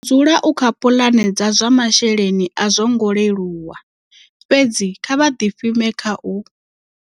U dzula u kha puḽane dza zwa masheleni a zwongo leluwa, fhedzi kha vha ḓifhime kha u.